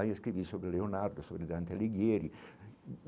Aí, escrevi sobre Leonardo, sobre Dante Ligieri.